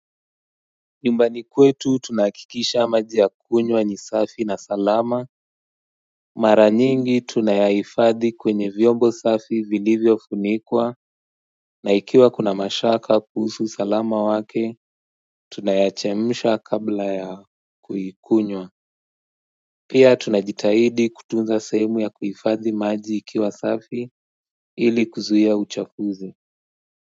Nyumbani kwetu tunahakikisha maji ya kunywa ni safi na salama Mara nyingi tunayahifadhi kwenye vyombo safi vilivyofunikwa na ikiwa kuna mashaka kuhusu usalama wake tunayachemsha kabla ya kuikunywa Pia tunajitahidi kutunza sehemu ya kuhifadhi maji ikiwa safi ili kuzuia uchafuzi.